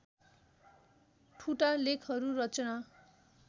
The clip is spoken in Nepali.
ठुटा लेखहरू रचना